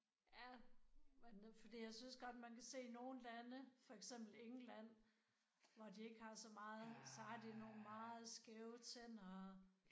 Ja. Men nu fordi jeg synes godt man kan se nogen lande for eksempel England hvor de ikke har så meget så har de nogle meget skæve tænder og